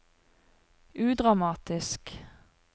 udramatisk